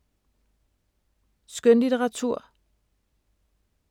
Skønlitteratur